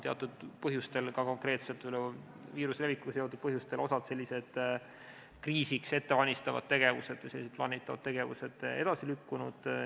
Teatud põhjustel, ka viiruse levikuga seotud põhjustel on osa kriisiks ettevalmistavaid tegevusi ja plaanitavaid tegevusi edasi lükkunud.